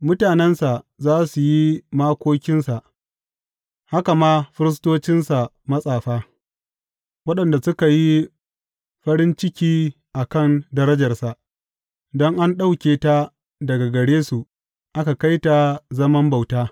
Mutanensa za su yi makokinsa, haka ma firistocinsa matsafa, waɗanda suka yi farin ciki a kan darajarsa, don an ɗauke ta daga gare su aka kai ta zaman bauta.